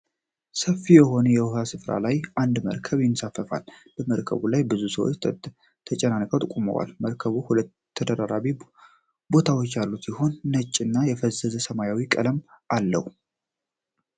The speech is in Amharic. ሰፊ የሆነ የዉሃ ስፍራ ላይ አንድ መርከብ ይንሳፈፋል። በመርከቡ ላይም ብዙ ሰዎች ተጨናንቀው ቆመዋል። መርከቡ ሁለት ተደራራቢ ቦታዎች ያሉት ሲሆን ነጭ እና የፈዘዘ ሰማያዊ ቀለምም አለው።